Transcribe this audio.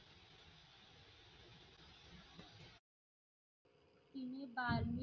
बाली.